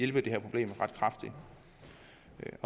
det her problem ret kraftigt